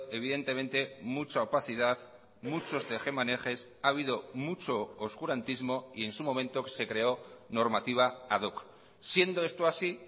evidentemente mucha opacidad muchos tejemanejes ha habido mucho oscurantismo y en su momento se creó normativa ad hoc siendo esto así